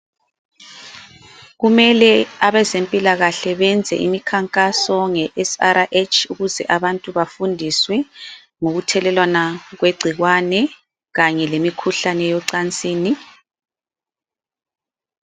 Kumele abezempilakahle benze imikhankaso nge SRH, ukuze abantu bafundiswe ngokuthelelwana kwegcikwane, kanye lemikhuhlane yocansini.